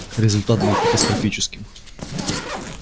результат был катастрофическим